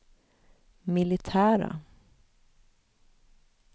militära